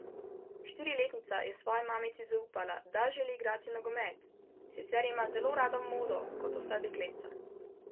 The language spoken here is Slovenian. Štiriletnica je svoji mamici zaupala, želi igrati nogomet: "Sicer ima zelo rada modo, kot vsa dekletca.